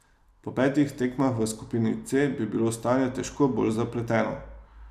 Po petih tekmah v skupini C bi bilo stanje težko bolj zapleteno.